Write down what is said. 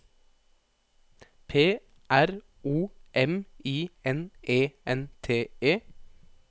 P R O M I N E N T E